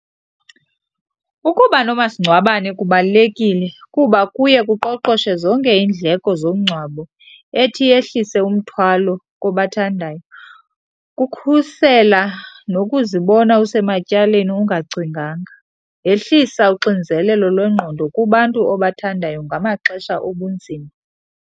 Ukuba nomasingcwabane kubalulekile kuba kuye kuqoqoshe zonke iindleko zomngcwabo ethi yehlise umthwalo kobathandayo, kukhusela nokuzibona usematyaleni ungacinganga. Yehlisa uxinzelelo lwengqondo kubantu obathandayo ngamaxesha obunzima.